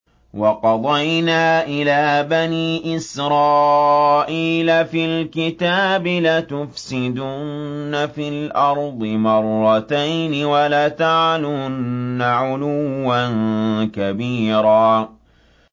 وَقَضَيْنَا إِلَىٰ بَنِي إِسْرَائِيلَ فِي الْكِتَابِ لَتُفْسِدُنَّ فِي الْأَرْضِ مَرَّتَيْنِ وَلَتَعْلُنَّ عُلُوًّا كَبِيرًا